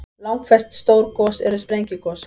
Langflest stór gos eru sprengigos.